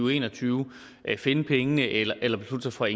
og en og tyve finde pengene eller beslutte sig for